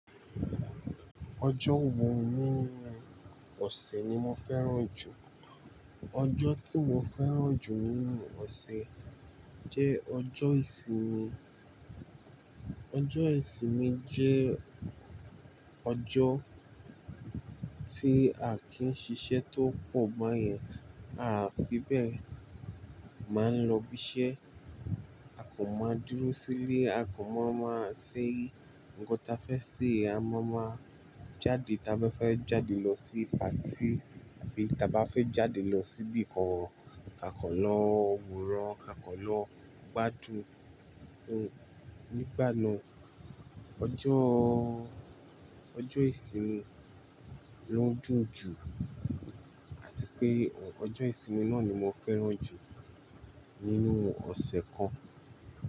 Ọjọ́ wo nínú ọ̀sẹ̀ ni mo fẹ́ràn jù? Ọjọ́ tí mo fẹ́ràn jù nínú ọ̀sẹ̀ jẹ́ ọjọ́ ìsinmi. Ọjọ́ ìsinmi jẹ́ ọjọ́ tí à kí ń ṣiṣẹ́ tó pọ̀ báyẹn, a fi bẹ́ẹ̀ máa ń lọ ibiṣẹ́, a kò mọ dúró sílé, a kò mọ máa ṣé ńko tá fẹ́ ṣe, a máa ma jáde tá bá fẹ́ jáde lọ sí patí àbí tá bá fẹ́ jáde lọ síbi kan, ka kan lọ wonran, ka kọ̀ lọ gbádùn. Ni ìgbà náà, ọjọ́, ọjọ́ ìsinmi ló dùn jù àti pé ọjọ́ ìsinmi náà ni mo fẹ́ràn jù nínú ọ̀sẹ̀ kan.